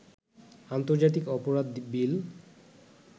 আন্তর্জাতিক অপরাধ বিল